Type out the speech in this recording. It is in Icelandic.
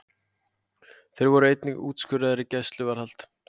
Þeir voru einnig úrskurðaðir í gæsluvarðhald